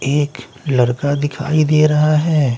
एक लड़का दिखाई दे रहा हैं ।